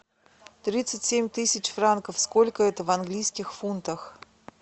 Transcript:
тридцать семь тысяч франков сколько это в английских фунтах